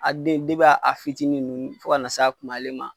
A den a fitinin nunnu fo ka n'a se kumaba ma